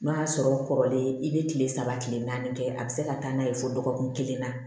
N'o y'a sɔrɔ kɔrɔlen i bɛ kile saba kile naani kɛ a bɛ se ka taa n'a ye fo dɔgɔkun kelen na